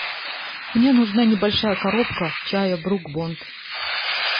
мне нужна небольшая коробка чая брук бонд